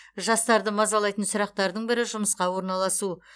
жастарды мазалайтын сұрақтардың бірі жұмысқа орналасу